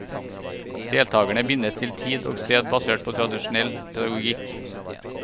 Deltagerne bindes til tid og sted basert på tradisjonell pedagogikk.